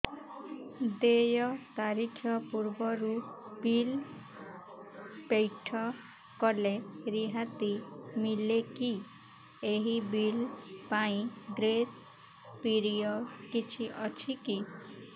ଦେୟ ତାରିଖ ପୂର୍ବରୁ ବିଲ୍ ପୈଠ କଲେ ରିହାତି ମିଲେକି ଏହି ବିଲ୍ ପାଇଁ ଗ୍ରେସ୍ ପିରିୟଡ଼ କିଛି ଅଛିକି